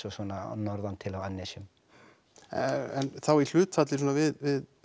og svona norðantil á annesjum en þá í hlutfalli svona við